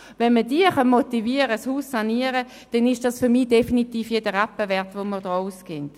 Wenn man diese motivieren kann, das Haus zu sanieren, dann ist das für mich definitiv jeden Rappen wert, den wir hier ausgeben.